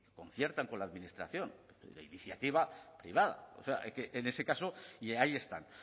que conciertan con la administración de iniciativa privada o sea en ese caso y ahí están